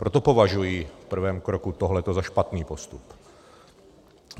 Proto považuji v prvém kroku tohleto za špatný postup.